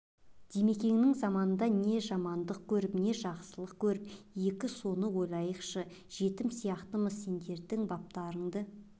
димекеңнің заманында не жамандық көріп не жақсылық көріп екі соны ойланайықшы жетім сияқтымыз сендердің баптарыңды